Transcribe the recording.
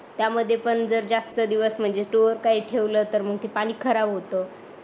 त्यामध्ये पण जर जास्त दिवस म्हणजे स्टोर करून ठेवल तर मग ते पाणी खराब होत त्यानी